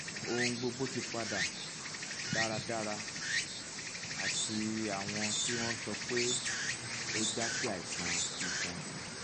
ohun gbogbo ti padà dáradára ati awọn ti won sọ wí pé ó jasi aiṣan iṣan